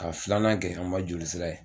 Ka filanan kɛ an ma jolisira ye